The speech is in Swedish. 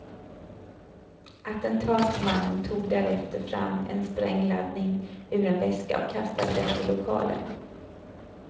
Attentatsmannen tog därefter fram en sprängladdning ur en väska och kastade den i lokalen.